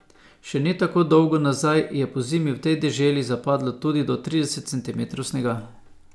Še ne tako dolgo nazaj je pozimi v tej deželi zapadlo tudi do trideset centimetrov snega.